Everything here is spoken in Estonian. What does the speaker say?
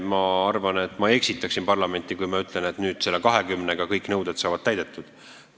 Ma arvan, et ma eksitaksin parlamenti, kui ma ütleksin, et selle 20 aasta jooksul kõik nõuded saavad täidetud.